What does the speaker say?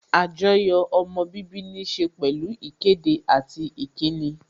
Àjoyò ọmọ bíbí níse pẹ̀lú ìkéde àti ìkíni